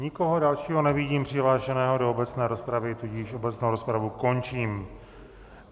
Nikoho dalšího nevidím přihlášeného do obecné rozpravy, tudíž obecnou rozpravu končím.